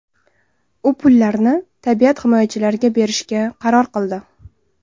U pullarni tabiat himoyachilariga berishga qaror qildi.